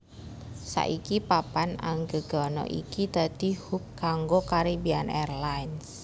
Saiki papan anggegana iki dadi hub kanggo Caribbean Airlines